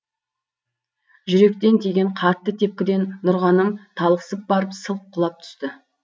жүректен тиген қатты тепкіден нұрғаным талықсып барып сылқ құлап түсті